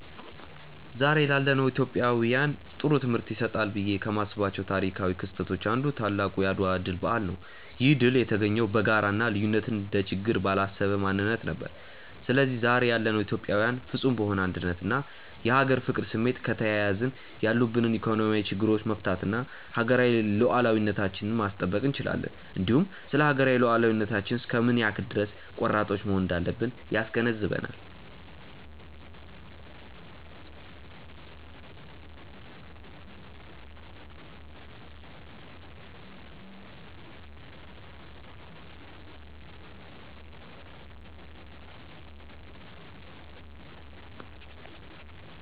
ዛሬ ላለነው ኢትዮጵያውያን ጥሩ ትምህርት ይሰጣሉ ብዬ ከማስባቸው ታሪካው ክስተቶች አንዱ ታላቁ የአድዋ ድል በዓል ነው። ይህ ድል የተገኘው በጋራ እና ልዩነትን እንደ ችግር ባላሰበ ማንነት ነበር። ስለዚህ ዛሬ ያለነው ኢትዮጵያዊያንም ፍፁም በሆነ አንድነት እና የሀገር ፍቅር ስሜት ከተያያዝን ያሉብንን ኢኮኖሚያዊ ችግሮቻች መፍታት እና ሀገራዊ ሉዓላዊነታችንን ማስጠበቅ እንችላለን። እንዲሁም ስለሀገራዊ ሉዓላዊነታችን እስከ ምን ያክል ድረስ ቆራጦች መሆን እንዳለብን ያስገነዝበናል።